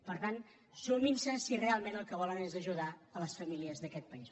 per tant sumin s’hi si realment el que volen és ajudar les famílies d’aquest país